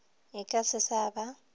e ka se sa ba